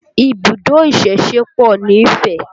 Ibùdó ìsẹ̀se pọ̀ nífẹ̀